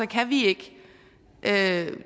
kan vi ikke